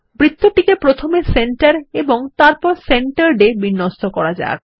বৃত্তটিকে প্রথমে সেন্টার এবং তারপর Centered এ বিন্যস্ত করা যাক